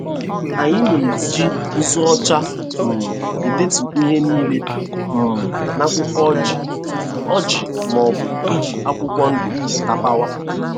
Anyị na-eji nzu ọcha um edetu ihe n'ile um n'akwụkwọ ojii ojii ma ọbụ iji akwụkwọ ndụ tapawa.